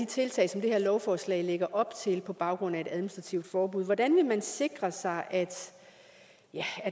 tiltag som det her lovforslag lægger op til på baggrund af et administrativt forbud hvordan vil man sikre sig at